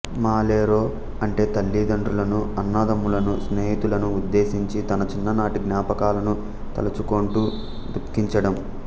మళేరో అంటే తల్లిదండ్రు లను అన్నాదమ్ములను స్నేహితులను ఉద్దేశించి తన చిన్ననాటి జ్ఞాపకాలను తలచుకొంటూ దుఃఖించటం